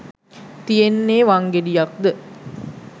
තියෙන්නේ වංගෙඩියක්ද